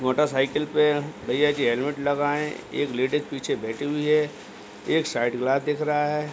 Motorcycle पे भैयाजी helmet लगाये एक लेडीज पीछे बैठी हुई है एक साइडग्लास दिख रहा है।